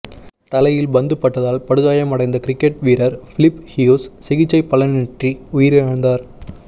தலையில் பந்து பட்டதால் படுகாயம் அடைந்த கிரிக்கெட் வீரர் பிலிஃப் ஹியூஸ் சிகிச்சை பலனின்றி உயிரிழந்தார்